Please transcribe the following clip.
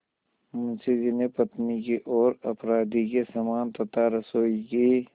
मुंशी जी ने पत्नी की ओर अपराधी के समान तथा रसोई की